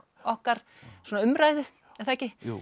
okkar svona umræðu er það ekki